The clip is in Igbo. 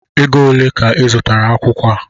Égo olé ka I zụtara akwụkwọ a?